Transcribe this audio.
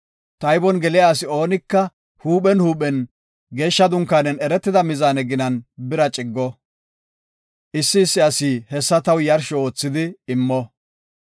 Taybon geliya asi oonika huuphen huuphen geeshsha dunkaanen eretida mizaane ginan bira ciggo. Issi issi asi hessa taw yarsho oothidi immo.